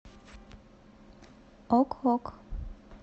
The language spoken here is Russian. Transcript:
ок ок